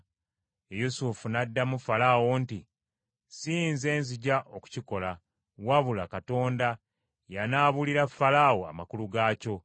Yusufu n’addamu Falaawo nti, “Si nze nzija okukikola, wabula Katonda y’anaabuulira Falaawo amakulu gaakyo.”